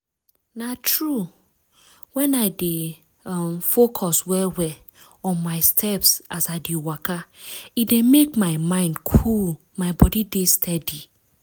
na true! when i dey um focus well-well on my steps as i dey waka e dey make my mind cool my body dey steady.